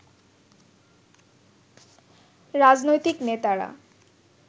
রাজনৈতিক নেতারা